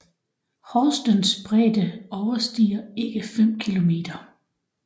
Horstens bredde overstiger ikke 5 kilometer